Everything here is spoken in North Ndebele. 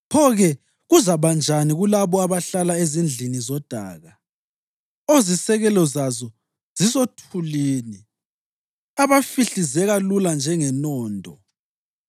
pho-ke kuzakuba njani kulabo abahlala ezindlini zodaka, ozisekelo zazo zisothulini, abahlifizeka lula njengenondo!